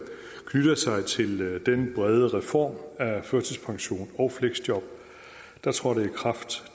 knytter sig til den brede reform af førtidspension og fleksjob der trådte i kraft